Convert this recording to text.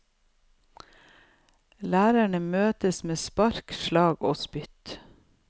Lærerne møtes med spark, slag og spytt.